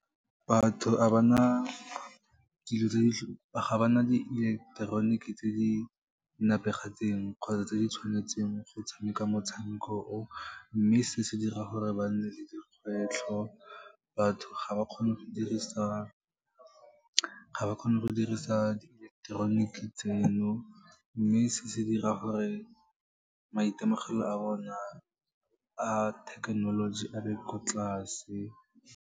Batho ga ba na dieleketeroniki tse di nepagetseng kgotsa tse di tshwanetseng go tshameka motshameko o, mme se se dira gore ba nne le dikgwetlho. Batho ga ba kgone go dirisa di ileketeroniki tseno, mme se se dira gore maitemogelo a bona a thekenoloji, a be ko tlase.